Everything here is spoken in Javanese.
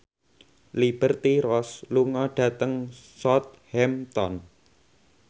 Liberty Ross lunga dhateng Southampton